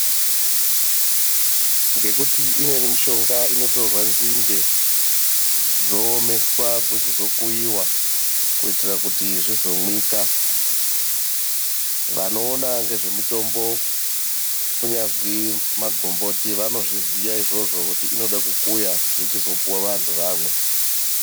Ngekuti imweni mishonga inotorwa nzinde dzoomeswa dzochizokuiwa kuitira kuti zvizomwika vanoona ngezvemutombo kunyazwi magomboti vanozviziya izvozvo kuti inoda kukuya yochizopuwa antu kuti amwe .